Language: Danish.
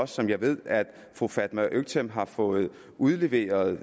som jeg ved at fru fatma øktem har fået udleveret